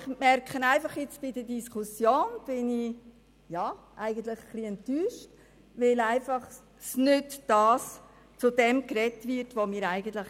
Ich stelle fest, dass ich von der Diskussion ein wenig enttäuscht bin, weil nicht über das gesprochen wird, was wir gewollt hätten.